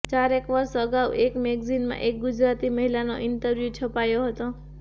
ચારેક વર્ષ અગાઉ એક મૅગેઝિનમાં એક ગુજરાતી મહિલાનો ઇન્ટરવ્યુ છપાયો હતો